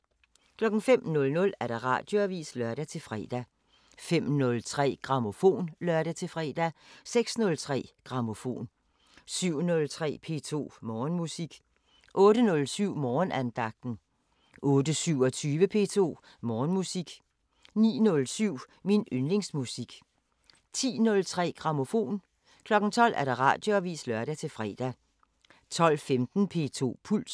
05:00: Radioavisen (lør-fre) 05:03: Grammofon (lør-fre) 06:03: Grammofon 07:03: P2 Morgenmusik 08:07: Morgenandagten 08:27: P2 Morgenmusik 09:07: Min yndlingsmusik 10:03: Grammofon 12:00: Radioavisen (lør-fre) 12:15: P2 Puls